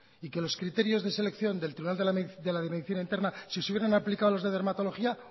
y que los criterios de selección del tribunal de la medicina interna si se hubiera aplicado a los de dermatología